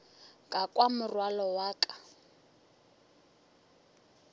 ka kwa morwalo wa ka